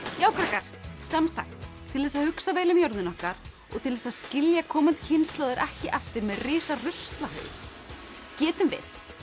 já krakkar sem sagt til þess að hugsa vel um jörðina okkar og til þess að skilja komandi kynslóðir ekki eftir með risa ruslahaug getum við